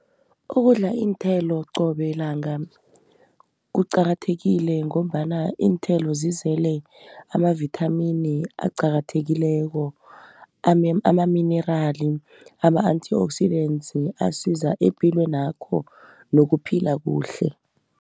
Ukudla iinthelo qobe langa kuqakathekile, ngombana iinthelo zizele amavithamini aqakathekileko amaminerali, ama-antioxidantes asiza epilwenakho nokuphila kuhle.